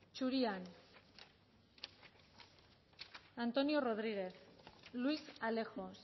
zurian antonio rodriguez luis alejos